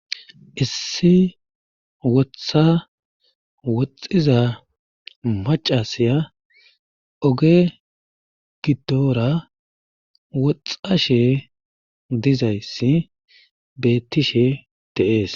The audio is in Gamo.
Issi wotha woxxiza macca asay oge gidora woxashe dizayssi beetishe de'ees.